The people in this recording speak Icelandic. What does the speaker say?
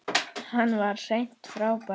Hann var hreint frábær.